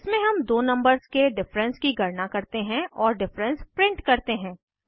इसमें हम दो नंबर्स के डिफरेंस की गणना करते हैं और डिफरेंस प्रिंट करते हैं